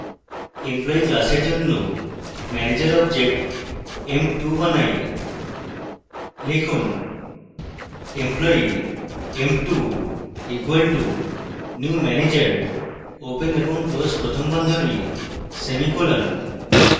employee class জন্য manager object emp2 দেখাই